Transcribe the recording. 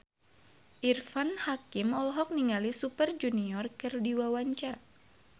Irfan Hakim olohok ningali Super Junior keur diwawancara